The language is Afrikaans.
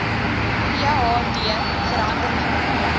ph d verhandeling